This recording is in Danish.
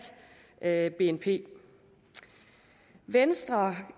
bnp venstre